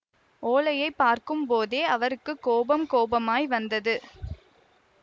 ஓலையை பார்க்கும்போதே அவருக்கு கோபம் கோபமாய் வந்தது